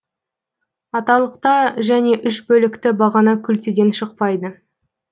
аталықта және үш бөлікті бағана күлтеден шықпайды